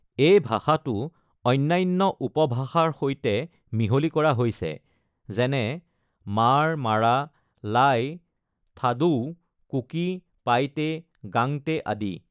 এই ভাষাটো অন্যান্য উপভাষাৰ সৈতে মিহলি কৰা হৈছে, যেনে, মাৰ, মাৰা, লাই, থাদোউ-কুকি, পাইটে, গাংতে আদি।